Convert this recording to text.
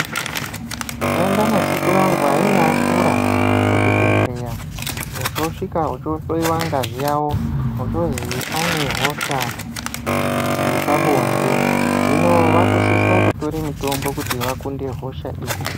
Takaenda nasekuru vangu vainga vakura kuzvibhedhlera vochosvika vochohloiwa ngazi yawo ochozi ane hosha yepabonde hino vakusisa kutora mitombo kuti vakunde hosha iyi.